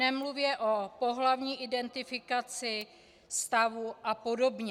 Nemluvě o pohlavní identifikaci, stavu a podobně.